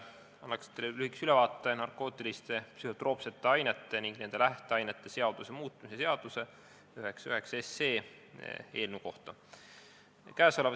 Annan teile lühikese ülevaate narkootiliste ja psühhotroopsete ainete ning nende lähteainete seaduse muutmise seaduse eelnõust 99.